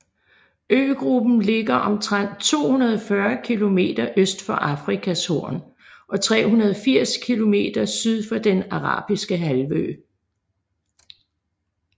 Øgruppen ligger omtrent 240 kilometer øst for Afrikas Horn og 380 kilometer syd for Den Arabiske Halvø